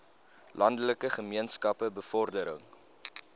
landelike gemeenskappe bevordering